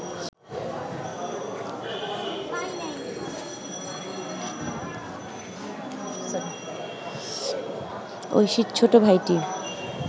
ঐশীর ছোট ভাইটি